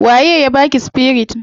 Wa ye ya baki spirit?